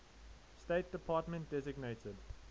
state department designated